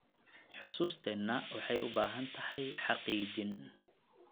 Xusuusteena waxay u baahan tahay xaqiijin.